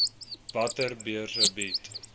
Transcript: watter beurse bied